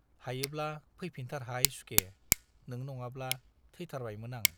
हायोब्ला फैफिनथारहाय सुखे नों नङाब्ला थैथारबायमोन आं।